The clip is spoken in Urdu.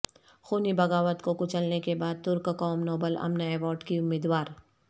خونی بغاوت کو کچلنے کے بعد ترک قوم نوبل امن ایوارڈ کی امیدوار